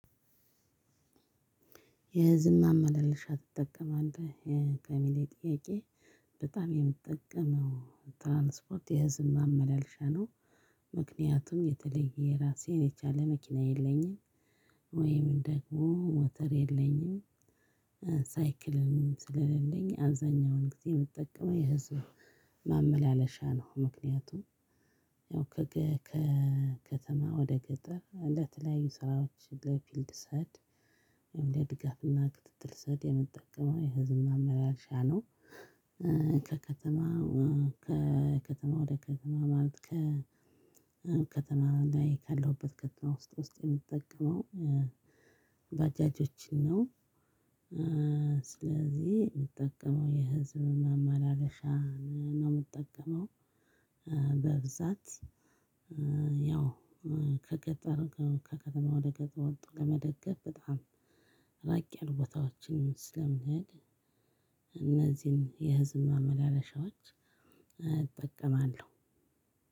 የህዝብ ማመላለሻ ትጠቀማለህ ለሚለው ጥያቄ በጣም የምጠቀመው ትራንስፖርት የህዝብ ማመላለሻ ነው። ምክንያቱም የተለየ የራሴ የቻለ መኪና የለኝም ወይም ደግሞ ሞተር የለኝም። ሳይክልም ስለሌለኝ አብዛኛውን ጊዜ ምጠቀመው የህዝብ ማመላለሻ ነው ምክንያቱም ያው ከከተማ ወደ ገጠር ለተለያዩ ስራዎች ለፊልድ ስሄድ ለድጋፍና ክትትል ስሄድ የምጠቀመው የህዝብ ማመላለሻ ነው። ከከተማ ከከተማ ወደ ከተማ ማለት ከከተማ ላይ ካለሁበት ከተማ ውስጥ ውስጥ የምትጠቀመው ባጃጆችን ነው። ስለዚህ የምጠቀመው የህዝብ ማማለሻ ነው የምጠቀመው። በብዛት ያው ከገጠር ከከተማ ወደ ገጠር ወጥቶ ለመደገፍ በጣም ራቅ ያሉ ቦታዎችን ስለምንሄድ እነዚህን የህዝብ ማመላለሻዎች እጠቀማለሁ።